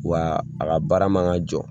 Wa a ka baara man ka jɔ